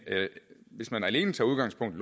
hvis man alene tager udgangspunkt